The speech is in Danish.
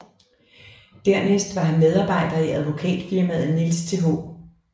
Dernæst var han medarbejder i Advokatfirmaet Niels Th